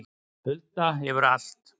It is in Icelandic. Hulda hefur allt